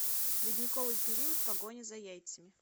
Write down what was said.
ледниковый период погоня за яйцами